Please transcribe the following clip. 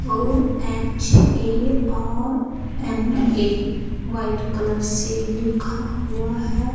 और H A R M A white colour से लिखा हुआ है।